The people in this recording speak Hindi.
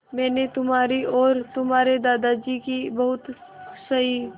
मैंने तुम्हारी और तुम्हारे दादाजी की बहुत सही